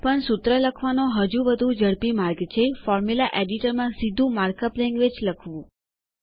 પણ સૂત્ર લખવાનો હજી વધુ ઝડપી માર્ગ છે ફોર્મ્યુલા એડિટરમાં સીધું માર્ક અપ લેન્ગવેજ લખવું